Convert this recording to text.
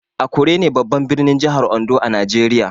Akure ne babban birnin jihar Ondo a Najeriya.